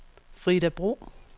Frida Bro